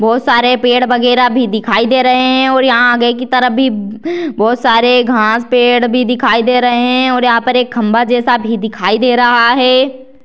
बहुत सारे पेड़ वगैरा भी दिखाई दे रहे है और यहां आगे की तरफ भी बहुत सारे घास पेड़ भी दिखाई दे रहे है और यहां पर एक खंभा जैसा भी दिखाई दे रहा है।